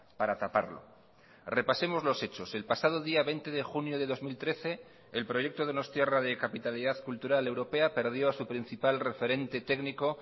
para taparlo repasemos los hechos el pasado día veinte de junio de dos mil trece el proyecto donostiarra de capitalidad cultural europea perdió a su principal referente técnico